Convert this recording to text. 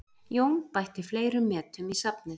Jón bætti fleiri metum í safnið